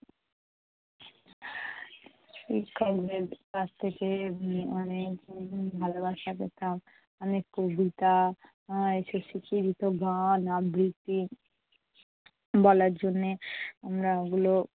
শিক্ষকদের কাছ থেকে অনেক উম ভালোবাসা পেতাম। অনেক কবিতা এর এসব শিখিয়ে দিতো গান আবৃত্তি বলার জন্যে আমরা ওগুলো